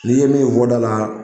N'i ye min fɔ da la